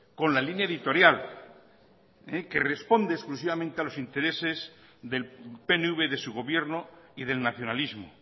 con la línea editorial que responde exclusivamente a los intereses del pnv de su gobierno y del nacionalismo